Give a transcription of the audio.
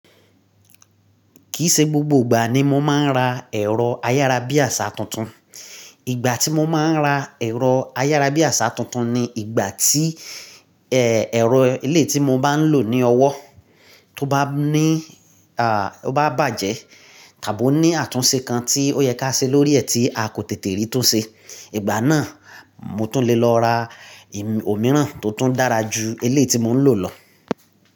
Kì í ṣe gbogbo ìgbà ni mo máa ń ra ẹ̀rọ ayára bí àṣà tuntun. Ìgbà tí mo máa ń ra ẹ̀rọ ayára bí àṣà tuntun ni ìgbà tí, ẹ, ẹ̀rọ eleyii tí mo bá ń lò ní ọwọ́, tó bá ní, à, tó bá bàjẹ́, tàbí ó ní àtúnṣe kan tí ó yẹ ká ṣe lórí ẹ̀ tí a kò tètè rí túnṣe. Ìgbà náà mo tún lè lọ ra òmíràn tó tún dára ju wleyii tí mò ń lò lọ.